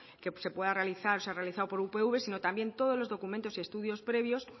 que se puedan realizar o se han realizado por upv sino también todos los documentos y estudios previos